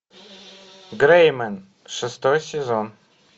грей мен шестой сезон